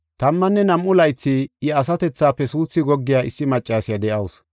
Tammanne nam7u laythi Ipe suuthi dhohiya issi maccasiya de7awusu.